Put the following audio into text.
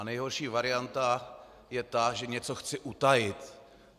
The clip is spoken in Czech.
A nejhorší varianta je ta, že něco chci utajit.